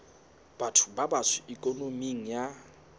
batho ba batsho ikonoming ka